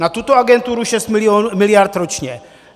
Na tuto agenturu 6 miliard ročně.